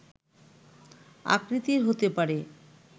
আকৃতির হতে পারে